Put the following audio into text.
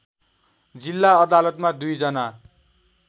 जिल्ला अदालतमा दुईजना